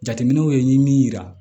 Jateminɛw ye min yira